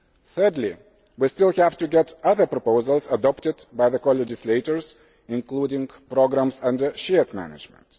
Thirdly, we still have to get the other proposals adopted by the co legislators, including programmes under shared management.